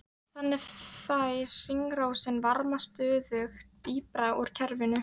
Þannig fær hringrásin varma stöðugt dýpra úr kerfinu.